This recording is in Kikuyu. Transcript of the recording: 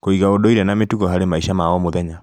Kũiga ũndũire na mĩtugo harĩ maica ma o mũthenya